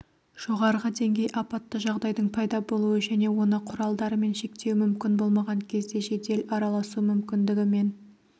жоғарғы деңгей апатты жағдайдың пайда болуы және оны құралдарымен шектеу мүмкін болмаған кезде жедел араласу мүмкіндігімен